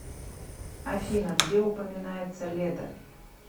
афина где упоминается леда